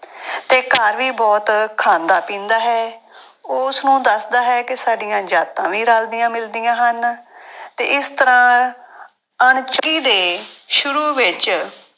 ਤੇ ਘਰ ਵੀ ਬਹੁਤ ਖਾਂਦਾ ਪੀਂਦਾ ਹੈ ਉਹ ਉਸਨੂੰ ਦੱਸਦਾ ਹੈ ਕਿ ਸਾਡੀਆਂ ਜਾਤਾਂ ਵੀ ਰਲਦੀਆਂ ਮਿਲਦੀਆਂ ਹਨ ਤੇ ਇਸ ਤਰ੍ਹਾਂ ਦੇ ਸ਼ੁਰੂ ਵਿੱਚ